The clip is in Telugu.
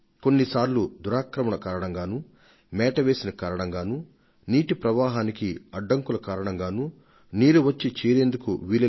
కొన్ని సార్లు కబ్జా కారణంగా మరికొన్ని సార్లు ఇసుక మేట వేసిన కారణంగా జలాశయాలలోకి ఇంకా ఇతర జల వనరులలోకి వచ్చే నీటి ప్రవాహానికి అడ్డంకి ఏర్పడింది